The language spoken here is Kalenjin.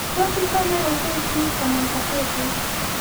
tos ichame gazetit anan gazetit